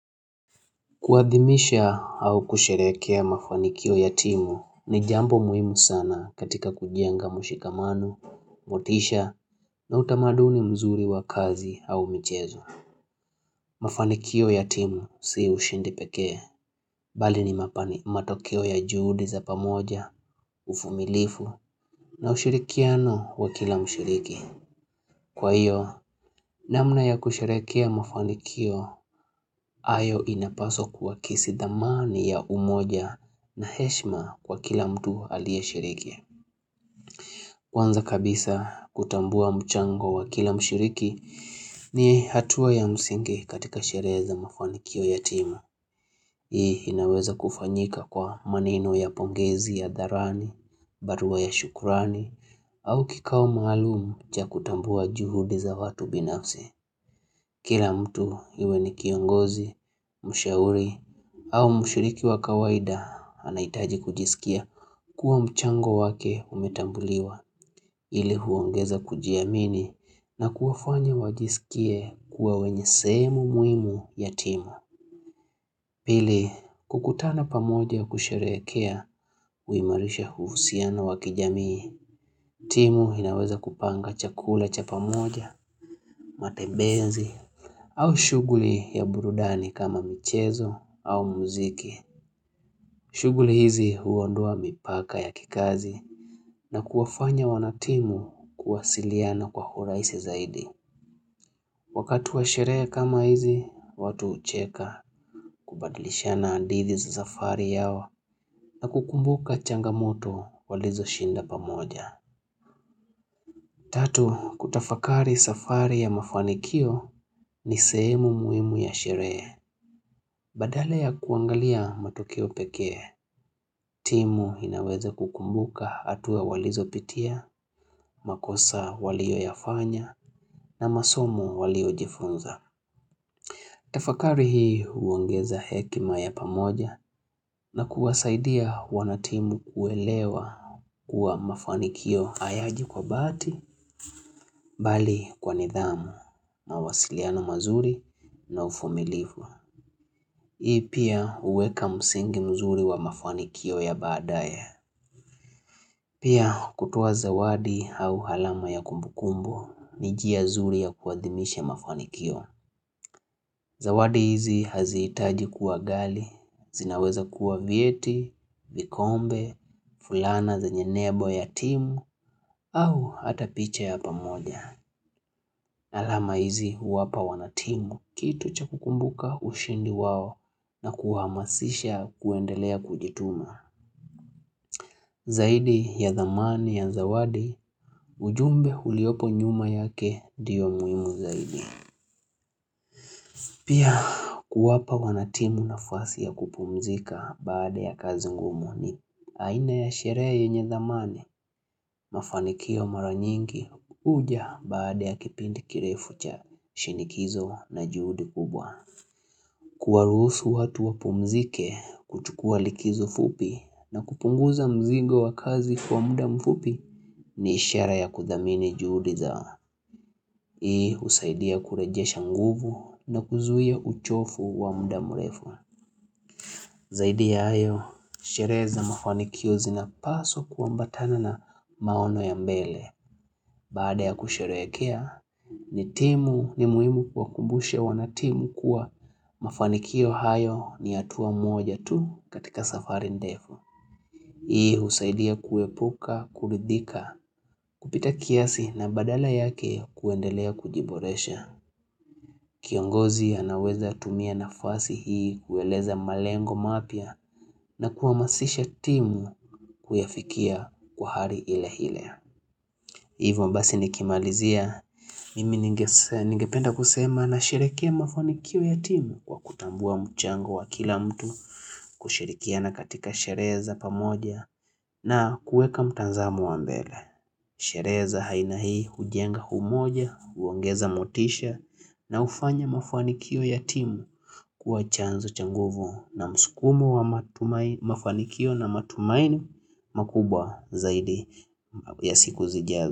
Kuadhimisha au kusherehekea mafanikio ya timu ni jambo muhimu sana katika kujenga mshikamano, motisha na utamaduni mzuri wa kazi au michezo. Mafanikio ya timu si ushindi pekee, bali ni mapani matokeo ya juhudi za pamoja, uvumilifu na ushirikiano wa kila mshiriki. Kwa hiyo, namna ya kusherehekea mafanikio, hayo inapaswa kuwa kesi dhamani ya umoja na heshima kwa kila mtu aliye shiriki. Kwanza kabisa, kutambua mchango wa kila mshiriki ni hatua ya msingi katika sherehe za mafanikio ya timu. Hii inaweza kufanyika kwa maneno ya pongezi hadharani, barua ya shukrani, au kikao maalumu cha kutambua juhudi za watu binafsi. Kila mtu iwe ni kiongozi, mshauri au mshiriki wa kawaida anahitaji kujisikia kuwa mchango wake umetambuliwa hili huongeza kujiamini na kuwafanya wajisikie kuwa wenye sehemu muhimu ya timu. Pili, kukutana pamoja kusherehekea huimarisha uhusiana wa kijamii, timu inaweza kupanga chakula cha pamoja, matembezi, au shughuli ya burudani kama michezo au mziki. Shughuli hizi huondoa mipaka ya kikazi na kuwafanya wanatimu kuwasiliana kwa urahisi zaidi. Wakati wa sherehe kama hizi, watu hucheka kubadilishiana hadithi za safari yao na kukumbuka changamoto walizo shinda pamoja. Tatu, kutafakari safari ya mafanikio ni sehemu muhimu ya sherehe. Badala ya kuangalia matokeo pekee, timu inaweza kukumbuka hatuwa walizo pitia, makosa walioyafanya na masomo waliojifunza. Tafakari hii huongeza hekima ya pamoja na kuwasaidia wanatimu kuelewa kuwa mafanikio hayaji kwa bahati bali kwa nidhamu mawasiliano mazuri na uvumilifu. Hii pia huweka msingi mzuri wa mafanikio ya badaye. Pia kutoa zawadi au alama ya kumbukumbu ni njia nzuri ya kuadhimisha mafanikio. Zawadi hizi hazihitaji kua ghali, zinaweza kuwa vyeti, vikombe, fulana zenye lebo ya timu, au hata picha ya pamoja. Alama hizi huwapa wanatimu, kitu cha kukumbuka ushindi wao na kuwahamasisha kuendelea kujituma. Zaidi ya dhamani ya zawadi, ujumbe uliopo nyuma yake ndiyo muhimu zaidi. Pia kuwapa wanatimu nafasi ya kupumzika baada ya kazi ngumu ni. Aina ya sherehe yenye dhamani mafanikio mara nyingi huja baada ya kipindi kirefu cha shinikizo na juhudi kubwa. Kuwaruhusu watu wapumzike kuchukua likizo fupi na kupunguza mzingo wa kazi kwa muda mfupi ni ishara ya kudhamini juhudi za. Hii husaidia kurejesha nguvu na kuzuia uchovu wa muda mrefu. Zaidi ya hayo, sherehe za mafanikio zinapaswa kuambatana na maono ya mbele. Baada ya kusherehekea, ni timu ni muhimu kuwakumbusha wanatimu kuwa mafanikio hayo ni hatuwa moja tu katika safari ndefu. Hii husaidia kuepuka, kuridhika, kupita kiasi na badala yake kuendelea kujiboresha. Kiongozi anaweza tumia nafasi hii kueleza malengo mapya na kuhamasisha timu kuyafikia kwa hali ile ile. Hivyo basi nikimalizia, mimi ningependa kusema nasherehekea mafanikio ya timu kwa kutambua mchango wa kila mtu, kushirikiana katika sherehe za pamoja na kuweka mtazamo wa mbele. Sherehe za aina hii hujenga umoja, huongeza motisha na hufanya mafanikio ya timu kuwa chanzo cha nguvu na mskumo wa mafanikio na matumaini makubwa zaidi ya siku zijazo.